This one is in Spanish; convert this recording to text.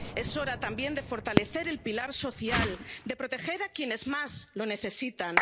global. Es hora también de fortalecer el pilar social, de proteger a quienes más lo